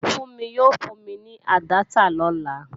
Fúnmi yóò fún mi ní àdáptà lọ́la